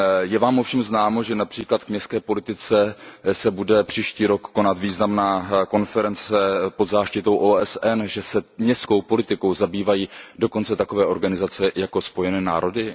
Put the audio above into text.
Je vám ovšem známo, že například k městské politice se bude příští rok konat významná konference pod záštitou OSN, že se městskou politikou zabývají dokonce takové organizace jako Spojené národy?